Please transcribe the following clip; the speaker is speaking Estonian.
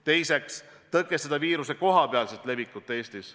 Teiseks, tõkestada viiruse kohapealset levikut Eestis.